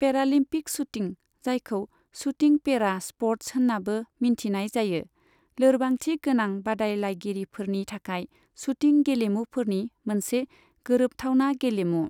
Paralympic shooting, जायखौ shooting para sports होन्नाबो मिन्थिनाय जायो, लोरबांथि गोनां बादायलायगिरिफोरनि थाखाय शूटिं गेलेमुफोरनि मोनसे गोरोबथावना गेलेमु।